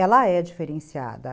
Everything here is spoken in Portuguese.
ela é diferenciada.